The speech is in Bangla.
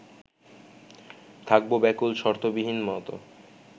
থাকবো ব্যাকুল শর্তবিহীন নত